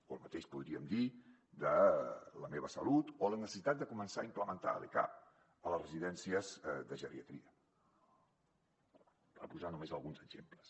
o el mateix podríem dir de la meva salut o la necessitat de començar a implementar l’ecap a les residències de geriatria per posar ne només alguns exemples